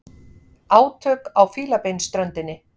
Átök á Fílabeinsströndinni